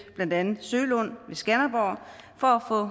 blandt andet sølund ved skanderborg for